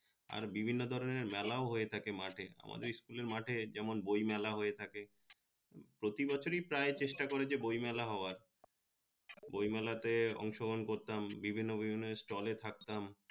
আর বিভিন্ন ধরনের মেলাও হয়ে থাকে মাঠে আমাদের school মাঠে যেমন বই মেলা হয়ে থাকে প্রতি বছরই প্রায় চেষ্টা করে যে বই মেলা হওয়ার বই মেলা তে অংশ গ্রহন করতাম বিভিন্ন ওই ওই stall থাকতাম